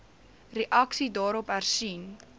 reaksie daarop hersien